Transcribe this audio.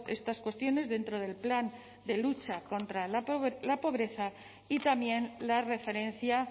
estas cuestiones dentro del plan de lucha contra la pobreza y también la referencia